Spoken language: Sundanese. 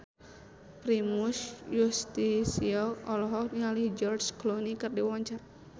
Primus Yustisio olohok ningali George Clooney keur diwawancara